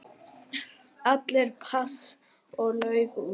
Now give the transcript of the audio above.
Allir pass og lauf út.